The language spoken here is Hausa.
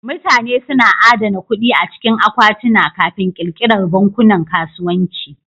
Mutane suna adana kuɗi a cikin akwatuna Kafin ƙirƙirar bankunan kasuwanci.